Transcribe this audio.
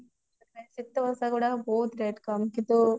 ସିତା ପୋଷାକ ଗୁଡାକ ବହୁତ rate କମ